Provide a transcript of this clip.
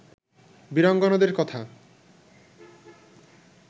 বীরাঙ্গনাদের কথা